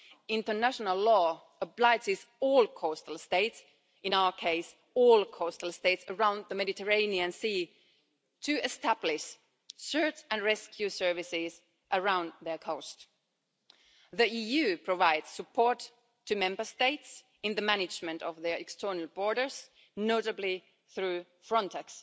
International law obliges all coastal states in our case, all coastal states around the Mediterranean Sea to establish search-and-rescue services around their coast. The EU provides support to Member States in the management of their external borders, notably through Frontex